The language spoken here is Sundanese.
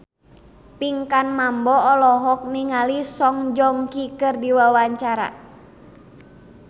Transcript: Pinkan Mambo olohok ningali Song Joong Ki keur diwawancara